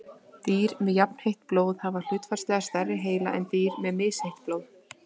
dýr með jafnheitt blóð hafa hlutfallslega stærri heila en dýr með misheitt blóð